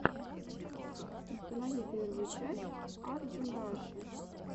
установи первую часть арджимраши